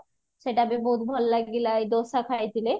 ସେଟ ବି ବହୁତ ଭଲ ଲାଗିଲା ଡୋସା ଖାଇଥିଲେ